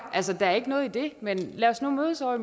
altså der er ikke noget i det men lad os nu mødes ovre